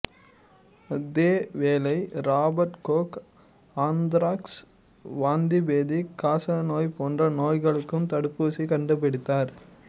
அதேவேளை Robert Koch anthrax வாந்திபேதி காச நோய் போன்ற நோய்களுக்குத் தடுப்பூசி கண்டுபிடித்தார்